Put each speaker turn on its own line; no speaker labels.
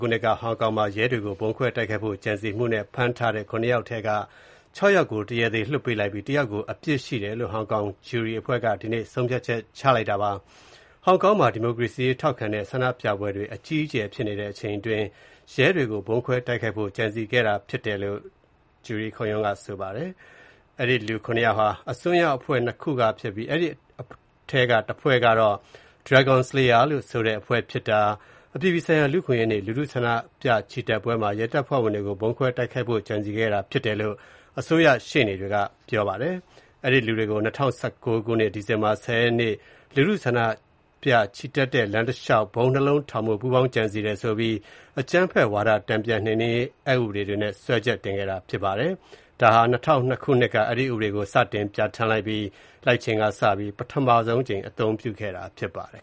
ခုနှစ်က ဟောင်ကောင်မှာ ရဲတွေကို ဗုံးခွဲတိုက်ခိုက်ဖို့ ကြံစည်မှု နဲ့ ပတ်သက်ပြီး ဖမ်းဆီးထားတဲ့သူ ၇ ယောက်ထဲက ၆ ယောက်ကို တရားသေ လွှတ်ပေးလိုက်ပြီး ၁ ယောက်ကို အပြစ်ရှိတယ်လို့ ဟောင်ကောင်က ဂျူရီအဖွဲ့က ဒီနေ့မှာ ဆုံးဖြတ်လိုက်ပါတယ်။ ဟောင်ကောင်မှာ ဒီမိုကရေစီရေးထောက်ခံတဲ့ ဆန္ဒပြပွဲတွေ အကြီးအကျယ်ဖြစ်နေတဲ့အချိန်အတွင်း ရဲတွေကို ဗုံးခွဲတိုက်ခိုက်ဖို့ ကြံစည်ခဲ့တာဖြစ်ပါတယ်။ အဲဒီလူ ၇ ယောက်ဟာ အစွန်းရောက်အဖွဲ့ ၂ ခုက ဖြစ်ပြီး၊ အဲဒီထဲက တဖွဲ့ကတော့ Dragon Slayers ဆိုတဲ့အဖွဲ့ဖြစ်ပြီး၊ အပြည်ပြည်ဆိုင်ရာ လူ့အခွင့်အရေးနေ့ လူထုဆန္ဒပြချီတက်ပွဲမှာ ရဲတပ်ဖွဲ့ဝင်တွေကို ဗုံးခွဲတိုက်ခိုက်ဖို့ ကြံစည်ခဲ့တာဖြစ်တယ်လို့ အစိုးရရှေ့နေတွေက ပြောပါတယ်။ အဲဒီလူတွေကို ၂၀၁၉ ဒီဇင်ဘာ ၁၀ ရက်နေ့က လူထုဆန္ဒပြချီတက်တဲ့လမ်းတလျှောက် ဗုံး ၂ လုံး ထောင်ဖို့ ပူးပေါင်းကြံစည်တယ်ဆိုပြီး အကြမ်းဖက်ဝါဒတန်ပြန်နှိမ်နှင်းရေး အက်ဥပဒေတွေနဲ့ စွဲချက်တင်ခဲ့တာဖြစ်ပါတယ်။ ဒါဟာ ၂၀၀၂ ခုနှစ်က အဲဒီဥပဒေကို စတင်ပြဌာန်း လိုက်ချိန်ကစပြီး ပထမဆုံးအကြိမ် အသုံး
ပြုခဲ့တာဖြစ်ပါတယ်